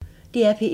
DR P1